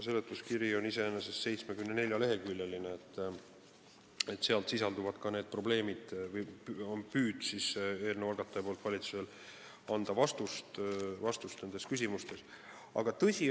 Seletuskiri on 74-leheküljeline ja seal sisalduvad ka need probleemid või eelnõu algataja ehk valitsus on püüdnud anda nendele küsimustele vastust.